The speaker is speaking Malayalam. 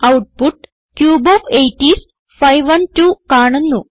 ഔട്ട്പുട്ട് ക്യൂബ് ഓഫ് 8 ഐഎസ് 512 കാണുന്നു